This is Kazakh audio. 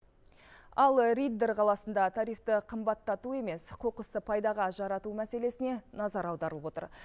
ал риддер қаласында тарифті қымбаттату емес қоқысты пайдаға жарату мәселесіне назар аударылып отыр